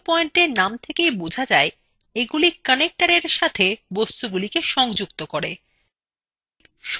glue পয়েন্টএর name থেকেই বোঝা যায় এগুলি connectorsএর সাথে বস্তুগুলি সংযুক্ত করে